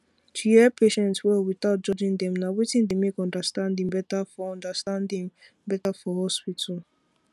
to hear patient well without judging dem na wetin dey make understanding better for understanding better for hospital